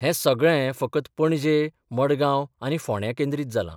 हे सगळें फकत पणजे, मडगांव आनी फोंड्यां केंद्रीत जालां.